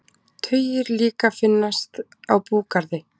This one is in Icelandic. Tugir líka finnast á búgarði